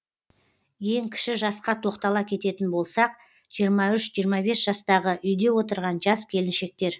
ең кіші жасқа тоқтала кететін болсақ жиырма үш жиырма бес жастағы үйде отырған жас келіншектер